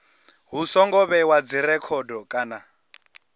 hu songo vhewa dzirekhodo kana